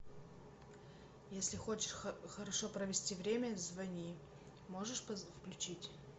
если хочешь хорошо провести время звони можешь включить